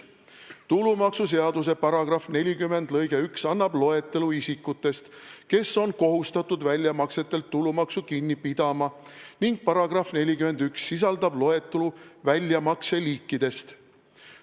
TuMS § 40 lg 1 annab loetelu isikutest, kes on kohustatud väljamaksetelt tulumaksu kinni pidama, ning § 41 sisaldab loetelu väljamakse liikidest.